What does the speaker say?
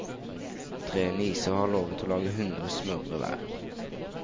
Tre nieser har lovet å lage hundre smørbrød hver.